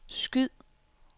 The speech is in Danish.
skyd